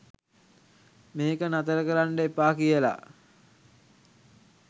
මේක නතර කරන්ඩ එපා කියලා.